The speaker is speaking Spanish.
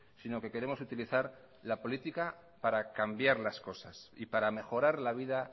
sino que queremos utilizar la política para cambiar las cosas y para mejorar la vida